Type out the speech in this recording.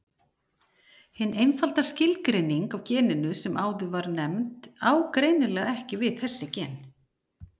Hin einfalda skilgreining á geninu sem áður var nefnd á greinilega ekki við þessi gen.